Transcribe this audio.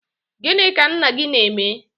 gịnị ka nna gị na-eme?